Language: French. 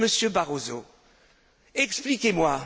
Monsieur Barroso, expliquez moi!